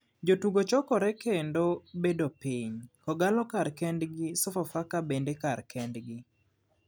Jotugo chokore kendo bedo piny, kogallo kar kend gi sofafaka bende kar kend gi.